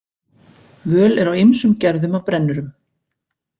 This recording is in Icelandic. Völ er á ýmsum gerðum af brennurum.